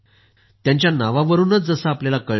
त्यांच्या नावावरूनच जसं आपल्याला कळतं